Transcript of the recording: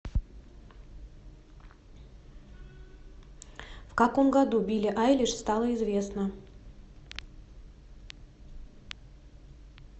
в каком году билли айлиш стала известна